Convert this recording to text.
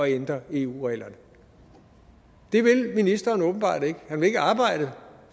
ændre eu reglerne det vil ministeren åbenbart ikke han vil ikke arbejde